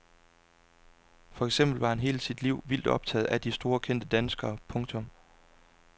For eksempel var han hele sit liv vildt optaget af de store kendte danskere. punktum